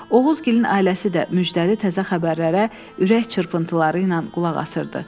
Oğuzgilin ailəsi də müjdəli təzə xəbərlərə ürək çırpıntıları ilə qulaq asırdı.